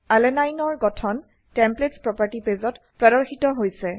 আলানিনে এৰ গঠন templates property পেজত প্ৰদৰ্শিত হৈছে